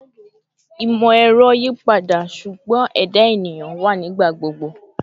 Imọ-ẹrọ yipada, ṣugbọn ẹda eniyan wa nigbagbogbo